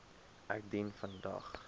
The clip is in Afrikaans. ek dien vandag